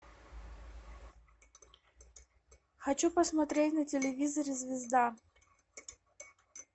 хочу посмотреть на телевизоре звезда